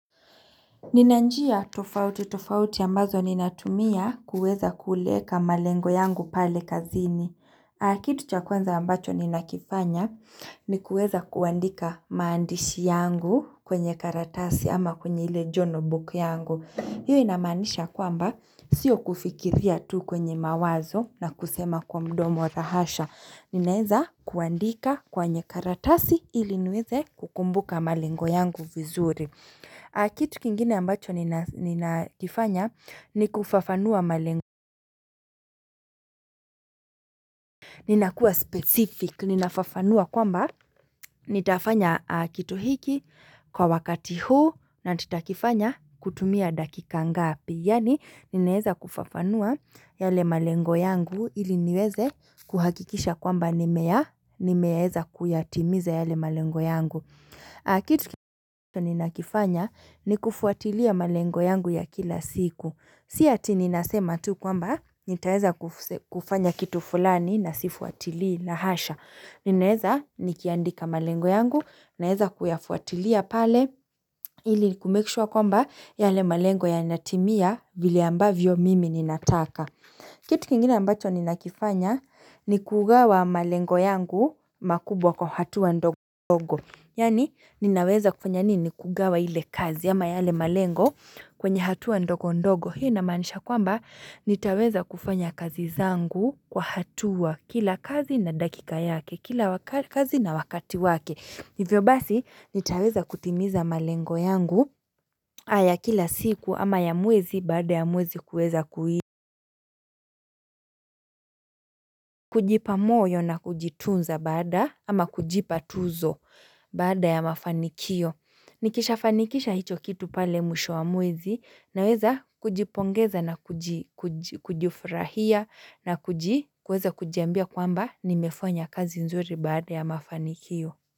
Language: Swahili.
Ninanjia tofauti tofauti ambazo ninatumia kuweza kuleka malengo yangu pale kazini. Hh ah na kitu cha kwanza ambacho ninakifanya ni kuweza kuandika maandishi yangu kwenye karatasi ama kwenye ile jornal book yangu. Hiyo inamanisha kwamba sio kufikiria tu kwenye mawazo na kusema kwa mdomo, raa hasha. Hhh Ninaeza kuandika kwenye karatasi iliniweze kukumbuka malengo yangu vizuri. Mmf ahh Kitu kingine ambacho nina nina kifanya ni kufafanua maleng. Ninakua specific, ninafafanua kwamba nitafanya ah kitu hiki kwa wakati huu na nitakifanya kutumia dakika ngapi. Yani ninaeza kufafanua yale malengo yangu ili niweze kuhakikisha kwamba nimeya, nimeeza kuyatimiza yale malengu yangu. Mhh ah Kitu kit nina kifanya ni kufuatilia malengo yangu ya kila siku Si ati ninasema tu kwamba nitaeza kufus kufanya kitu fulani na sifuatili, laa hasha Ninaeza nikiandika malengo yangu naeza kuyafuatilia pale ili ku make sure kwamba yale malengo yanatimia vile ambavyo mimi ninataka. Mhh hh Kitu kingine ambacho nina kifanya hh ni kugawa malengo yangu mm makubwa kwa hatua wa ndogo dogo, yani ninaweza kufanya nini kugawa ile kazi ama yale malengo kwenye hatua ndogo ndogo Hio inamanisha kwamba nitaweza kufanya kazi zangu kwa hatua kila kazi na dakika yake, kila wak kazi na wakati wake hivyo basi hh nitaweza kutimiza malengo yangu aa aya kila siku ama ya mwezi baada ya muwezi kuweza kui kujipa moyo na kujitunza baada ama kujipa tuzo baada ya mafanikio mmh Nikisha fanikisha hicho kitu pale mwisho wa mwezi na weza kujipongeza na kuji kuj kujifurahia na kuji kuweza kujiambia kwamba nimefanya kazi nzuri baada ya mafanikio.